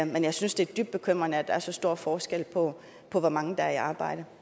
men jeg synes det er dybt bekymrende at der er så stor forskel på hvor mange der er i arbejde